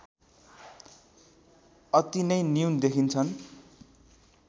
अति नै न्यून देखिन्छन्